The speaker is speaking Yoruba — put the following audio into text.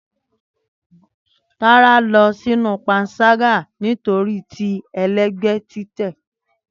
Tara lọ sinu panṣaga nitori ti ẹlẹgbẹ titẹ.